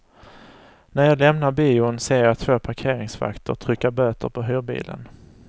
När jag lämnar bion ser jag två parkeringsvakter trycka böter på hyrbilen.